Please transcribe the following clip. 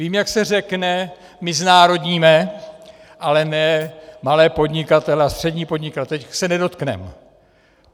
Vím, jak se řekne "my znárodníme, ale ne malé podnikatele a střední podnikatele, těch se nedotkneme".